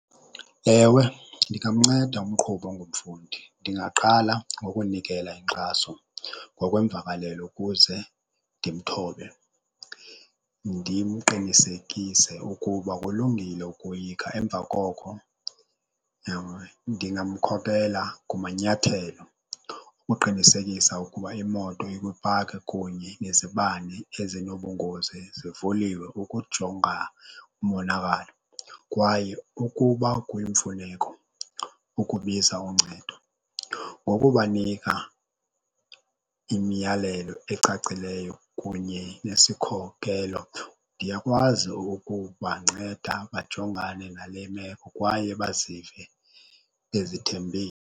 Ewe, ndingamnceda umqhubi ongumfundi. Ndingaqala ngokunikela inkxaso ngokwemvakalelo ukuze ndimthobe, ndimqinisekise ukuba kulungile ukoyika. Emva koko ndingamkhokhela kumanyathelo ukuqinisekisa ukuba imoto ikwipaki kunye nezibane ezinobungozi zivuliwe ukujonga umonakalo kwaye ukuba kuyimfuneko ukubiza uncedo. Ngokubanika imiyalelo ecacileyo kunye nesikhokhelo, ndiyakwazi ukubanceda bajongane nale meko kwaye bazive bezithembile.